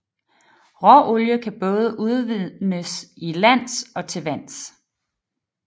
Råolie kan både udvindes til lands og til vands